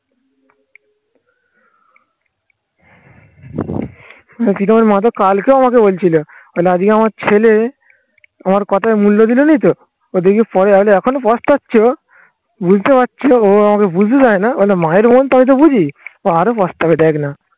কালকেও আমাকে বলছিল মানে আজকে আমার ছেলে আমার কথায় মূল্য দিলোনি তো? ও দেখি পরে হয়তো এখনো পস্তাচ্ছে ও বুঝতে পারছি ও আমাকে বুঝতে দেয় না মানে মায়ের মন তো আমি তো বুঝি. ও আরো পস্তাবে দেখ না